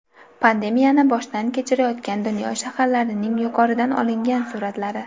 Pandemiyani boshdan kechirayotgan dunyo shaharlarining yuqoridan olingan suratlari.